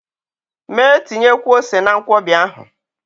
Mee tinyekwuo ose na Nkwobi ahụ!